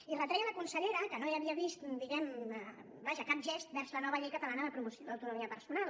i retreia a la consellera que no havia vist vaja cap gest vers la nova llei catalana de promoció de l’autonomia personal